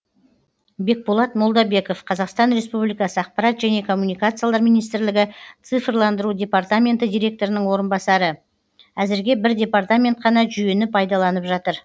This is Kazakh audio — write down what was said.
бекболат молдабеков қазақстан республикасы ақпарат және коммуникациялар министрлігі цифрландыру департаменті директорының орынбасары әзірге бір департамент қана жүйені пайдаланып жатыр